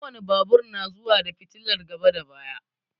Ko wane babur na zuwa da fitilar gaba da baya.